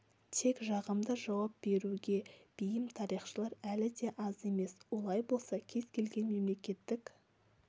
тек жағымды жауап беруге бейім тарихшылар әлі де аз емес олай болса кез келген мемлекеттік